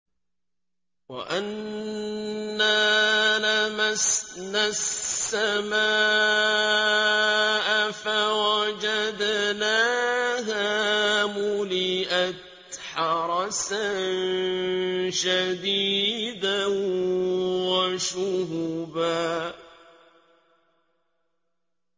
وَأَنَّا لَمَسْنَا السَّمَاءَ فَوَجَدْنَاهَا مُلِئَتْ حَرَسًا شَدِيدًا وَشُهُبًا